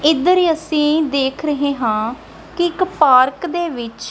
ਇਧਰ ਹੀ ਅਸੀਂ ਦੇਖ ਰਹੇ ਹਾਂ ਕਿ ਇੱਕ ਪਾਰਕ ਦੇ ਵਿੱਚ--